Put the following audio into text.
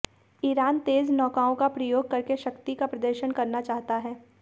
Iran तेज़ नौकाओं का प्रयोग करके शक्ति का प्रदर्शन करना चाहता है